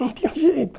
Não tinha jeito.